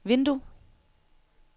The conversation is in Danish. vindue